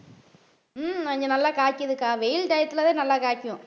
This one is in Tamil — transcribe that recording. உம் கொஞ்சம் நல்லா காய்க்குது அக்கா வெயில் time த்துல தான் நல்லா காய்க்கும்.